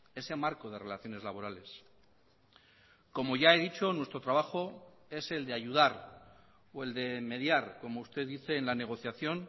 ese marco de relaciones laborales como ya he dicho nuestro trabajo es el de ayudar o el de mediar como usted dice en la negociación